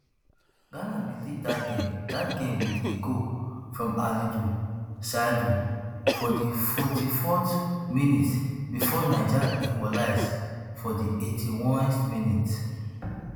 ghana bin lead dat game dat game wit a goal from alidu seidu for di forty-fourth minute bifor niger equalise for di eighty-onest minute